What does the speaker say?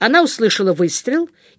она услышала выстрел